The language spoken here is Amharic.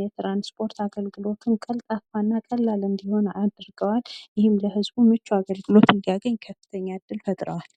የትራንስፖርት አገልግሎት ቀልጣፋና ቀላል እንዲሆን አድርገዋል። ይህም ለህዝቡ ምቹ አገልግሎት እንዲያገኝ ከፍተኛ እድል ፈጥረዋል።